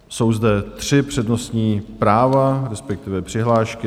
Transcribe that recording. Jsou zde tři přednostní práva, respektive přihlášky.